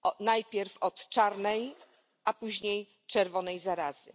najpierw od czarnej, a później czerwonej zarazy.